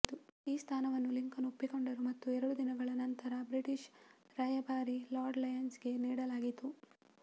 ಈ ಸ್ಥಾನವನ್ನು ಲಿಂಕನ್ ಒಪ್ಪಿಕೊಂಡರು ಮತ್ತು ಎರಡು ದಿನಗಳ ನಂತರ ಬ್ರಿಟಿಷ್ ರಾಯಭಾರಿ ಲಾರ್ಡ್ ಲಯನ್ಸ್ಗೆ ನೀಡಲಾಯಿತು